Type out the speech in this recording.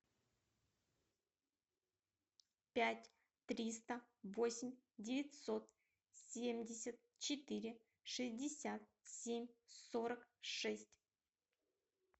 пять триста восемь девятьсот семьдесят четыре шестьдесят семь сорок шесть